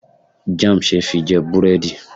Jam see fi je buredi